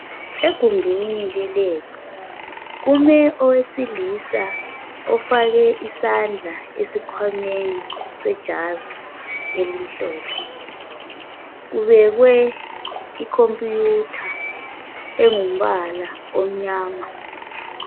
egumbini le lab kume owesilisa ofake isandla esikhwameni se jazi elimhlophe kubekwe i computer engumbala omnyama